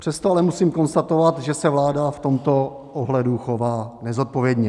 Přesto ale musím konstatovat, že se vláda v tomto ohledu chová nezodpovědně.